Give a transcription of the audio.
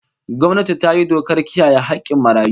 Gwamnati ta yi dokar kiyaye hakkin marayu